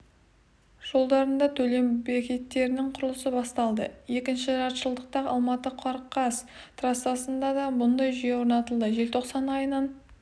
жолдарында төлем бекеттерінің құрылысы басталды екінші жартыжылдықта алматы-қорғас трассасында да мұндай жүйе орнатылады желтоқсан айынан